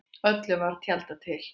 Öllu var tjaldað til.